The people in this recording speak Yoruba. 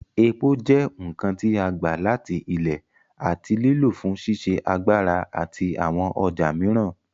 Epo jẹ́ nǹkan tí a gbà láti Ilẹ̀ àti lílò fún ṣíṣe agbára àti àwọn ọjà mìíràn.